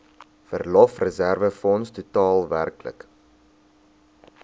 verlofreserwefonds totaal werklik